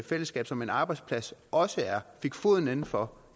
fællesskab som en arbejdsplads også er fik foden indenfor